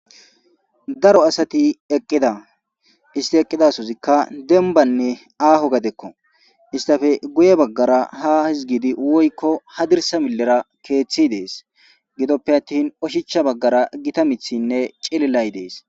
daro asati eqqida isti eqqidasozikka dembanne aaho gadekko istafe guye baggara ha hizgidi woykko hadirsa millera keeththi dees gidoppe attin oshicha baggara gita mithinne cililay dees